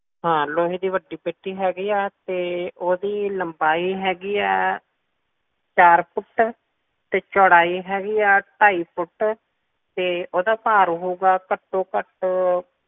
ਹਾਂ ਲੋਹੇ ਦੀ ਵੱਡੀ ਪੇਟੀ ਹੈਗੀ ਆ ਤੇ ਓਹਦੀ ਲੰਬਾਈ ਹੈਗੀ ਆ ਚਾਰ ਫੁੱਟ ਤੇ ਚੌੜਾਈ ਹੈਗੀ ਆ ਢਾਈ ਫੁੱਟ ਤੇ ਓਹਦਾ ਭਰ ਹੋਊਗਾ ਘੱਟੋਂ ਘੱਟ